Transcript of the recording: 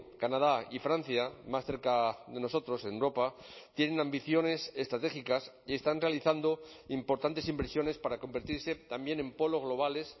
canadá y francia más cerca de nosotros en europa tienen ambiciones estratégicas y están realizando importantes inversiones para convertirse también en polos globales